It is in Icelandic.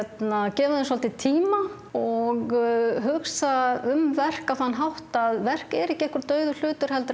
gefa þeim svolítinn tíma og hugsa um verk á þann hátt að verk er ekki dauður hlutur heldur